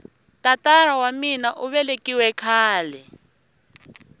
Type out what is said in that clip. tatara wa mina uvelekiwile khale